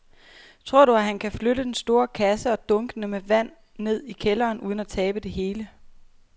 Tror du, at han kan flytte den store kasse og dunkene med vand ned i kælderen uden at tabe det hele?